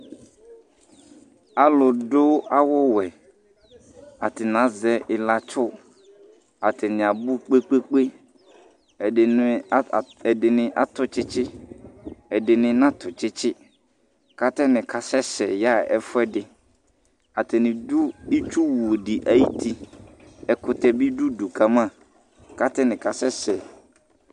Alʋdʋ awʋwɛ. Atanɩ azɛ ɩlatsʋ. Atanɩ abʋ kpe-kpe-kpe. Ɛdɩnɩ a a ɛdɩnɩ atʋ tsɩtsɩ, ɛdɩnɩ natʋ tsɩtsɩ kʋ atanɩ kasɛsɛ yaɣa ɛfʋɛdɩ. Atanɩ dʋ itsuwu dɩ ayuti. Ɛkʋtɛ bɩ dʋ udu ka ma kʋ atanɩ kasɛsɛ.